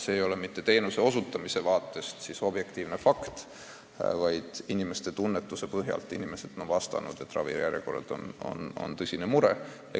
See aga ei ole mitte vaieldamatu fakt, vaid inimeste arvamus – inimesed on vastanud, et ravijärjekorrad on tõsine mure.